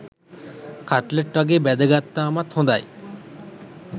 Cutlet වගේ බැද ගත්තාමත් හොඳයි.